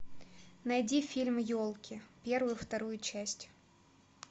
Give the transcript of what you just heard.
найди фильм елки первую вторую часть